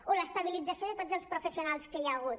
o l’estabilització de tots els professionals que hi ha hagut